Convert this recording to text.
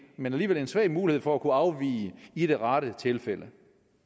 men alligevel svag mulighed for at kunne afvige i det rette tilfælde